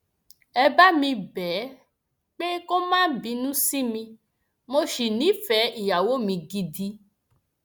ẹ bá mi bẹ ẹ pé kó má bínú sí mi mo sì nífẹẹ ìyàwó mi gidi